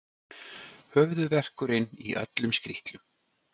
Höfuðverkurinn í öllum skrítlum.